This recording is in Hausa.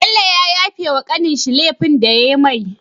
bello ya tafe wa kanin shi lefin da yayi mai